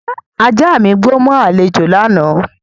Ajá mi gbó mọ́ àlejò lánàá